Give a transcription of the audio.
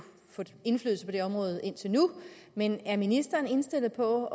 få indflydelse på det område indtil nu men er ministeren indstillet på